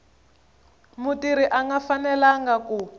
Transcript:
mutirhi a nga fanelanga ku